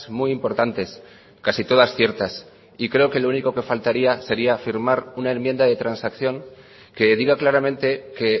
muy importantes casi todas ciertas y creo que lo único que faltaría sería firmar una enmienda de transacción que diga claramente que